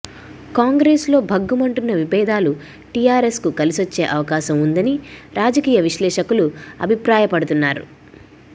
కాంగ్రెస్ లో భగ్గమంటున్న విభేదాలు టిఆర్ఎస్ కు కలిసొచ్చే అవకాశం ఉందని రాజకీయ విశ్లేషకులు అభిప్రాయపడుతున్నారు